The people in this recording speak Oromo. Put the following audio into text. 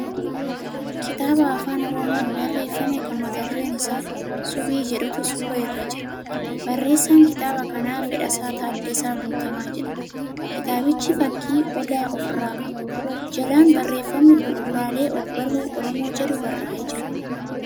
Kitaaba Afaan Oromoon barreeffame kan mata dureen isaa subii jedhutu suura irra jira. Barreessaan kitaaba kanaa Fedhasaa Taaddasaa Guutamaa jedhama. Kitaabichi fakkii odaa ofirraa qaba. Jalaan barreeffamni bu'uraalee ogbarruu Oromoo jedhu barraa'ee jira.